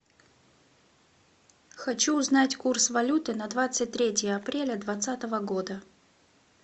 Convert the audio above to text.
хочу узнать курс валюты на двадцать третье апреля двадцатого года